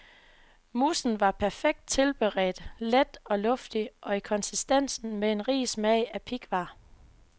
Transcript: Moussen var perfekt tilberedt, let og luftig i konsistensen med en rig smag af pighvar.